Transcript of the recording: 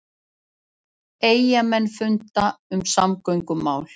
Eyjamenn funda um samgöngumál